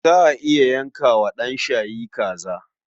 Za a iya yanka wa ɗan shayi kaza.